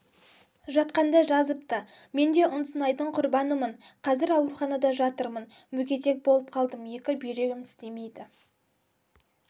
жатқанда жазыпты мен де ұнсынайдың құрбанымын қазір ауруханада жатырмын мүгедек боп қалдым екі бүйрегім істемейді